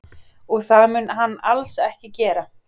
Og það mun hann alls ekki gera